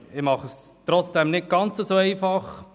Ich mache es trotzdem nicht ganz so einfach.